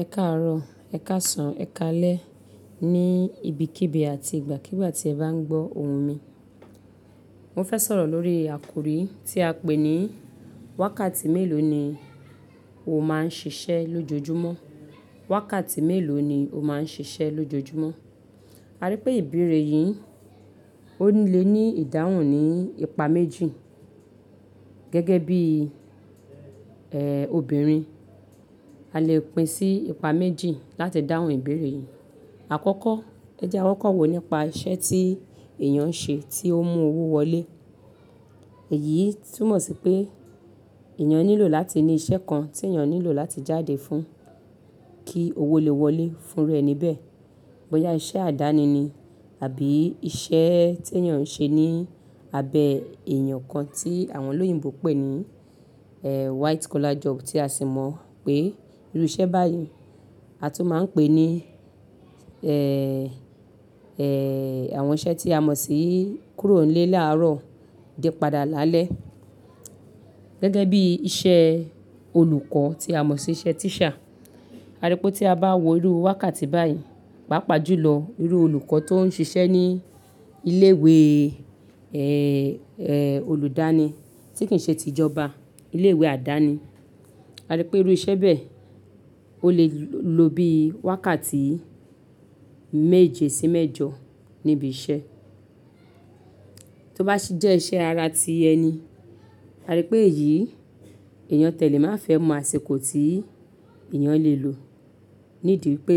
Ẹ káàárọ̀, ẹ káàsán, ẹ káalẹ́. Ni ibi kíbi àti ìgbàkígbà tí ẹ bá ń gbọ́ ohùn mi. Mo fẹ́ sọ̀rọ̀ lórí àkòrí tí a pé ní wákàtí mélòó ni o máa ń ṣiṣẹ́ lójoojúmọ́? Wákàtí mélòó ni o máa ń ṣiṣẹ́ lójoojúmọ́? A rí pé ìbéèrè yìí ó lè ní ìdáhùn ní ipa méjì. Gẹ́gẹ́ bí, eeh, obìnrin, a lè pín sí ipa méjì láti dáhùn ìbéèrè yìí. Àkọ́kọ́, ẹ jẹ́ ẹ wọ́n kọ̀wé nípa iṣẹ́ tí èèyàn ń ṣe tí ó ń mú owó wọlé. Èyí túmọ̀ sí pé èèyàn nílò láti ní iṣẹ́ kan tí èèyàn nílò láti jáde fún kí owó lè wọlé fún irú ẹni bẹ́ẹ̀. Bóyá iṣẹ́ àdáni ni àbí iṣẹ́ tí èèyàn ń ṣe ní abẹ́ èèyàn kan tí àwọn olóyìnbo pè ní, eeh, white collar job tí a sì mọ̀ pé irú iṣẹ́ báyìí a tún máa ń pè ní, eeh, eeh, àwọn iṣẹ́ tí a mọ̀ sí kúrò nílé láàárọ̀ dé padà lálẹ́. Gẹ́gẹ́ bí iṣẹ́ olùkọ́ tí a mọ̀ sí iṣẹ́ teacher. A rí pé tí a bá wo irú wákàtí báyìí, pàápàá jùlọ irú olùkọ́ tó ń ṣiṣẹ́ ní ilé ìwé, eeh, eeh, olùdáni tí kì í ṣe ti ìjọba, ilé ìwé àdáni. A rí pé irú iṣẹ́ bẹ́ẹ̀ ó lè lo bí i wákàtí méje sí mẹ́jọ níbi iṣẹ́. Tó bá sì jẹ́ iṣẹ́ ara tí ẹni, a rí pé èyí èèyàn tẹ̀lé máa fẹ́ mọ àsìkò tí èèyàn lè lò nídi pé